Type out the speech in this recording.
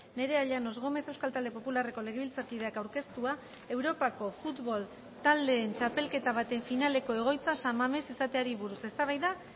nerea llanos gómez euskal talde popularreko legebiltzarkideak aurkeztua europako futbol taldeen txapelketa baten finaleko egoitza san mames izateari buruz eztabaida